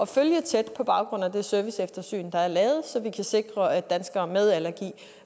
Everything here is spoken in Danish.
følge tæt på baggrund af det serviceeftersyn der er lavet så vi kan sikre at danskere med allergi